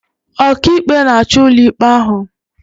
Ọkàikpe na-achị ụlọikpe ahụ